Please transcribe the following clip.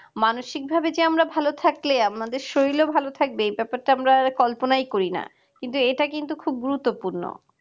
মানসিকভাবে যে আমরা ভালো থাকলে আমাদের শরীরও ভালো থাকবে এই ব্যাপারটা আমরা কল্পনাই করি না কিন্তু এটা কিন্তু খুব গুরুত্বপূর্ণ